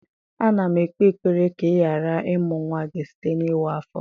A na m ekpe ekpere ka ị ghara ịmụ nwa gị site n'ịwa afọ.